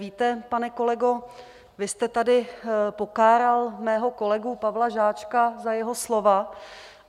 Víte, pane kolego, vy jste tady pokáral mého kolegu Pavla Žáčka za jeho slova.